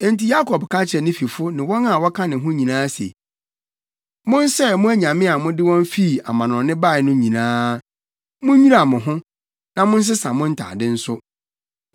Enti Yakob ka kyerɛɛ ne fifo ne wɔn a wɔka ne ho nyinaa se, “Monsɛe mo anyame a mode wɔn fi amannɔne bae no nyinaa. Munnwira mo ho, na monsesa mo ntade nso.”